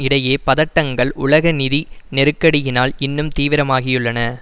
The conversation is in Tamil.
இடையே பதட்டங்கள் உலக நிதி நெருக்கடியினால் இன்னும் தீவிரமாகியுள்ளன